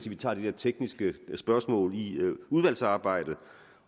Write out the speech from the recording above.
vi tager de her tekniske spørgsmål i udvalgsarbejdet